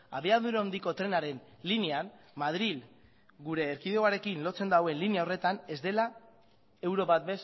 abiadura handiko trenaren linean madril gure erkidegoaren lotzen duen linea horretan ez dela euro bat